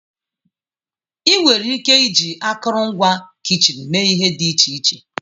Ị nwere ike iji akụrụngwa kichin mee ihe dị iche iche.